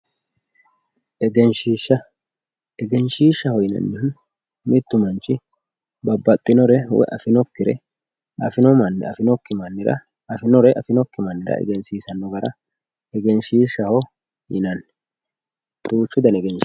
Egenshiishsha, egenshiishshaho yinannihu mitu manchi babbaxxinore woyi afinore affinokki mannira ,afinore affinokki mannira egensiisanore egenshiishshaho yinanni duuchu dani egenshiishi no.